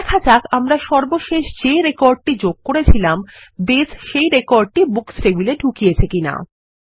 দেখা যাক আমরা সর্বশেষ যে রেকর্ডটি যোগ করেছিলাম বেস সেই রেকর্ডটি বুকস টেবিলে ঢুকিয়েছে কিনা